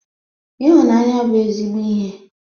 Ịhụnanya bụ ezigbo ihe.